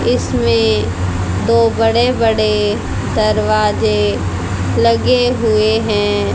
इसमें दो बड़े बड़े दरवाजे लगे हुए हैं।